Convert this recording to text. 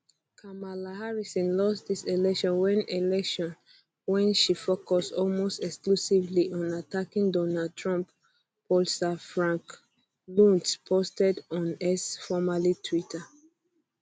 kamala harris lost dis election wen election wen she focus almost exclusively on attacking donald trump pollster frank luntz posted on x formerly twitter